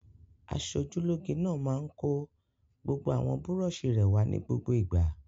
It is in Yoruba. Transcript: Aṣojúlóge náà máa ń kó gbogbo àwọn búrọ́ṣì rẹ̀ wá ní gbogbo ìgbà.